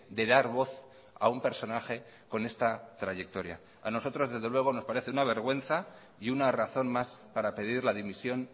de dar voz a un personaje con esta trayectoria a nosotros desde luego nos parece una vergüenza y una razón más para pedir la dimisión